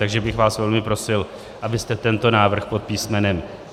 Takže bych vás velmi prosil, abyste tento návrh pod písm.